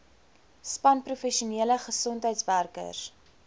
span professionele gesondheidswerkers